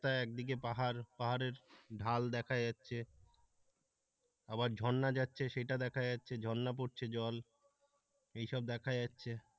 প্রায় একদিকে পাহাড় পাহাড়ের ঢাল দেখা যাচ্ছে আবার ঝরনা যাচ্ছে সেটা দেখা যাচ্ছে ঝরনা পড়ছে জল এইসব দেখা যাচ্ছে।